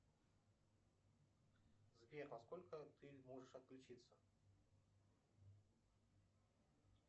сбер во сколько ты можешь отключиться